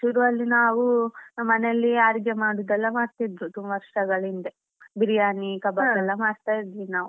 ಶುರು ಅಲ್ಲಿ ನಾವು ಮನೆಯಲ್ಲಿ ಅಡಿಗೆ ಮಾಡುದೆಲ್ಲ ಮಾಡ್ತಿದ್ದದ್ದು ವರ್ಷಗಳಿಂದೆ Biryani, Kabab ಎಲ್ಲ ಮಾಡ್ತಾ ಇದ್ವಿ ನಾವ್.